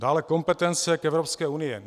Dále kompetence k Evropské unii.